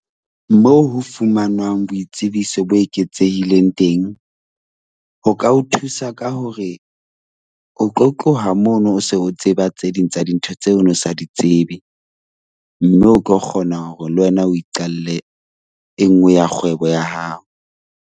Moo ho fumanwang boitsebiso bo eketsehileng teng ho ka o thusa ka hore o tlo tloha mono o se o tseba tse ding tsa dintho tseo o ne o sa di tsebe mme o tlo kgona hore le wena o iqalle e nngwe ya kgwebo ya hao.